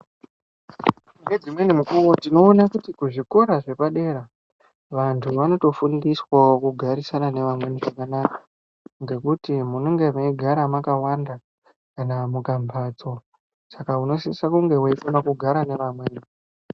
Ngedzimweni mukuwo tinoona kuzvikora zvepadera, vantu vanotofundiswawo kugararisana nevamweni zvakanaka ngekuti munenge meigara makawanda kana mukambatso, Saka unosise kunge uchikona kugara nevamweni.